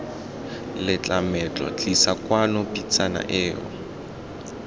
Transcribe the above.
letlametlo tlisa kwano pitsana eo